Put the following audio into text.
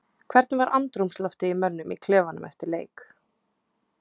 Hvernig var andrúmsloftið í mönnum í klefanum eftir leik?